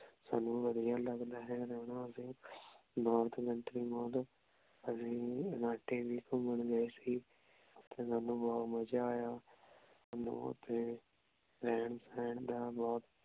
ਸਾਨੂ ਵਧੀਆ ਲਗਦਾ ਹੈ ਰਹਨਾ ਅਸੀਂ ਅਸੀਂ ਇਲਾਂਟੇ ਵੀ ਘੁਮਣ ਗਏ ਸੀ ਓਥੇ ਸਾਨੂ ਬੋਹਤ ਮਜ਼ਾ ਆਯਾ ਸਾਨੂ ਓਥੇ ਰਹਿਣ ਸਹਿਣ ਦਾ ਬੋਹਤ